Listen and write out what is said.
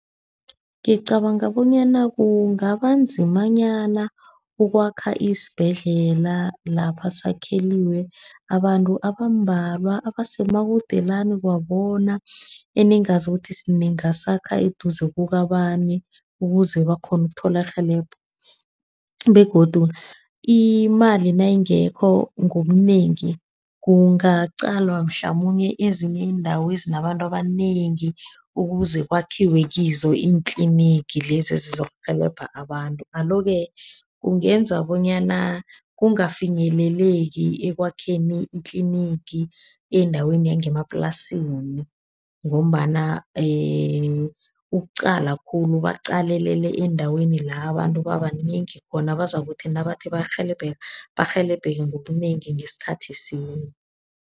Ngicabanga bonyana kungaba nzimanyana ukwakha isibhedlela lapha sakhelwe abantu abambalwa abasemakudelana kwabona, eningazi ukuthi singasakha eduze kabani, ukuze bakghone ukuthola irhelebho. Begodu imali nayingekho ngobunengi kungaqalwa mhlamunye ezinye iindawo ezinabantu abanengi ukuze kwakhiwe kizo iintlinigi lezi ezizokurhelebha abantu. Alo-ke kungenza bonyana kungafinyeleleki ekwakheni itlinigi endaweni yangemaplasini. Ngombana ukuqala khulu baqalelele endaweni la abantu babanengi khona. Abazakuthi nabathi bayarhelebheka, barhelebheke ngobunengi ngesikhathi sinye.